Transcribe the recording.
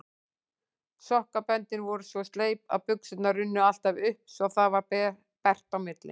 Sokkaböndin voru svo sleip að buxurnar runnu alltaf upp svo það varð bert á milli.